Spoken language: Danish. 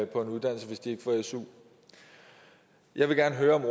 på en uddannelse hvis de ikke får su jeg vil gerne høre om